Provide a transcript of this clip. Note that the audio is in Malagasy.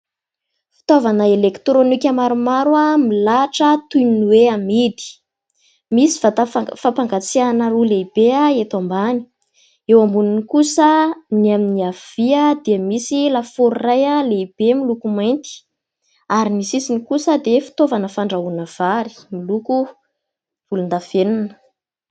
Fitaovana elektrônika maromaro milahatra toy ny hoe amidy : misy vatafampangatsiahana roa lehibe eto ambany, eo amboniny kosa ny amin'ny havia dia misy lafaoro iray lehibe miloko mainty ary ny sisiny kosa dia fitaovana fandrahoana vary miloko volondavenina.